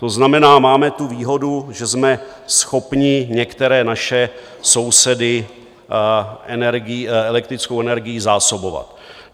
To znamená, máme tu výhodu, že jsme schopni některé naše sousedy elektrickou energií zásobovat.